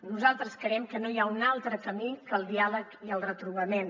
nosaltres creiem que no hi ha un altre camí que el diàleg i el retrobament